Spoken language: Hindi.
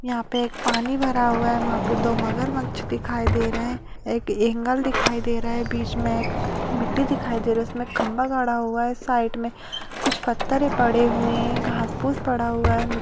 यहाँ पे एक पानी भरा हुआ है वहां पे दो मगरमच्छ दिखाई दे रहे हैं एक एंगल दिखाई दे रहा है बीच में मिट्टी दिखाई दे रही हैं उसमे एक खम्बा गाड़ा हुआ है साइड में कुछ पत्थरें पड़े हुए हैं घास फूस पड़ा हुआ है मि --